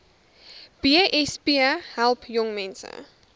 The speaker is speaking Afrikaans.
besp help jongmense